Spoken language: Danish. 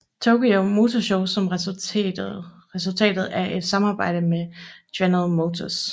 Tokyo Motor Show som resultatet af et samarbejde med General Motors